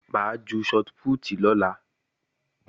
Mo máa ju shọt pútì lọ́la